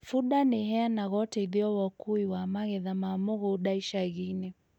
Bunda nĩiheanaga ũteithio wa ũkui wa magetha ma mũgũnda icagi-inĩ